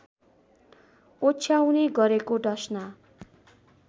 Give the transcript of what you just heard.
ओछ्याउने गरेको डसना